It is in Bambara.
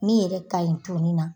Min yɛrɛ ka ɲi toni na.